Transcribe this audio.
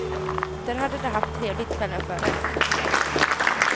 Där hade de haft trevligt kvällen före.